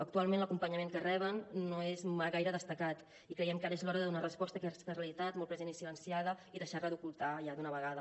actualment l’acompanyament que reben no és gaire destacat i creiem que ara és l’hora de donar resposta a aquesta realitat molt present i silenciada i deixar la d’ocultar ja d’una vegada